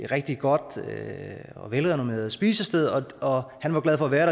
rigtig godt og velrenommeret spisested han var glad for at være